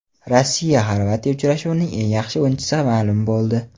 RossiyaXorvatiya uchrashuvining eng yaxshi o‘yinchisi ma’lum bo‘ldi.